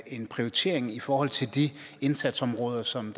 en prioritering i forhold til de indsatsområder som